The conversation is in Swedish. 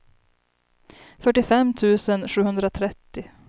fyrtiofem tusen sjuhundratrettio